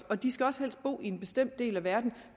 og de skal også helst bo i en bestemt del af verden